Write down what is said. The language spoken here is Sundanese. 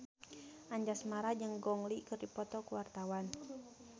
Anjasmara jeung Gong Li keur dipoto ku wartawan